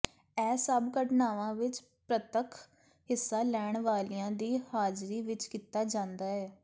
ਇਹ ਸਭ ਘਟਨਾਵਾਂ ਵਿਚ ਪ੍ਰਤੱਖ ਹਿੱਸਾ ਲੈਣ ਵਾਲਿਆਂ ਦੀ ਹਾਜ਼ਰੀ ਵਿਚ ਕੀਤਾ ਜਾਂਦਾ ਹੈ